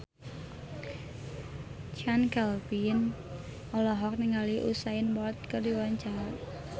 Chand Kelvin olohok ningali Usain Bolt keur diwawancara